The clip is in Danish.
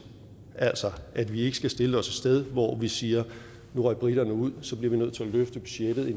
altså at vi ikke skal stille os et sted hvor vi siger nu røg briterne ud så bliver vi nødt til at løfte budgettet